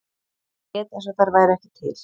Lét eins og þær væru ekki til.